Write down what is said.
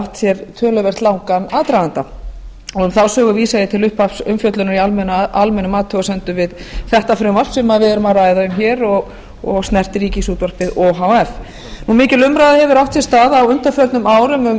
átt sér töluvert langan aðdraganda um þá sögu vísa ég til upphafsumfjöllunar í almennum athugasemdum við þetta frumvarp sem við erum að ræða um hér og snertir ríkisútvarpið o h f mikil umræða hefur átt sér stað á undanförnum árum um